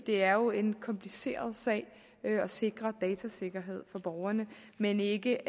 er jo en kompliceret sag at sikre datasikkerhed for borgerne men ikke